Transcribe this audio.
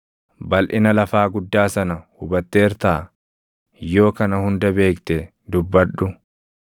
Balʼina lafaa guddaa sana hubatteertaa? Yoo kana hunda beekte dubbadhu.